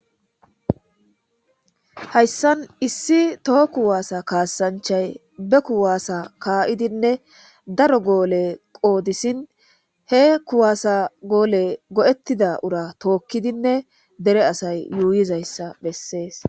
hayssan issi toho kuwaasa kaassanchay be kuwaasa kaa7idinne daro goole qoodisin he kuwaasa goole go7ettida ura tookkidinne dere asay yuuyizayssa bessees